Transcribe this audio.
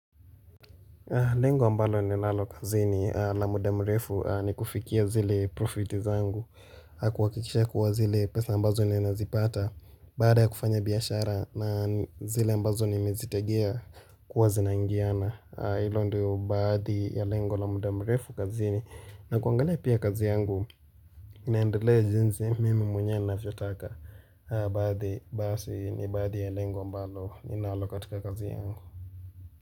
Lengo ambalo ninalalo kazini la mda mrefu ni kufikia zile profiti zangu kuhakikisha kuwa zile pesa ambazo ninazipata Baada ya kufanya biashara na zile ambazo nimezitegea kuwa zinaingiana Hilo ndio baadhi ya lengo la mda mrefu kazini na kuangalia pia kazi yangu inaendelea jinsi mimi mwenye ninavyotaka Baadhi basi ni baadhi ya lengo ambalo ninalo katika kazi yangu.